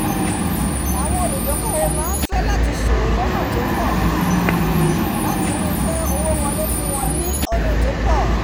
àwọn olùdókówò máá fẹ́ láti sòwò lónà tó pọ̀ láti ríi pé owó wolé fún wọn ní ọ̀nà tópọ̀